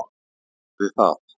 Það gerði það.